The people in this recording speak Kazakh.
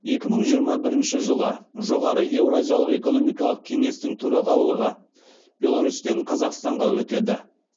екі мың жиырма бірінші жылы жоғары еуразиялық экономикалық кеңестің төрағалығы беларусьтен қазақстанға өтеді